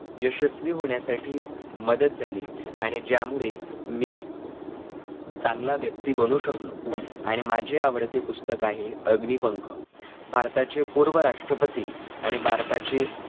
यशस्वी होण्यासाठी मदत झाली आणि ज्यामुळे मी चांगला व्यक्ती बनू शकलो. आणि माझे आवडते पुस्तक आहे अग्निपंख भारताचे पूर्व राष्ट्रपती आणि भारताचे